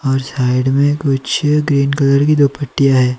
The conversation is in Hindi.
और साइड में कुछ ग्रीन कलर की दो पट्टियां है।